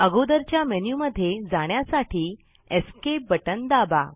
अगोदरच्या मेन्यु मध्ये जाण्यासाठी Esc बटन दाबा